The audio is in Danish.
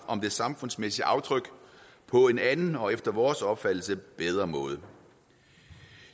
om det samfundsmæssige aftryk på en anden og efter vores opfattelse bedre måde